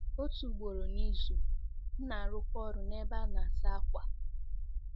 Otu ugboro n'izu, m na-arụkwa ọrụ n'ebe a na-asa ákwà.